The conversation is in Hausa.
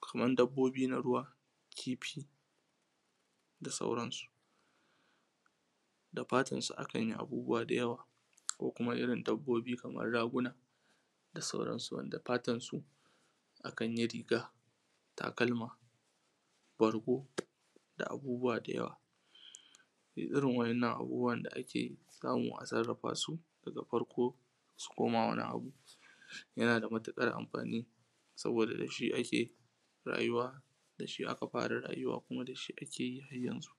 kaman dabbobi na ruwa kifi da sauran su da fatar su akan yi abubuwa da yawa ko kuma irin dabbobi kaman raguna da sauran su wanda fatan su akan yi riga takalma bargo da abubuwa da yawa duk irin waɗannan abubuwa da ake samu a sarrafa su daga farko su koma wani abu yana da matuƙar amfani saboda dashi ake rayuwa dashi aka fara rayuwa kuma dashi ake yi har yanzu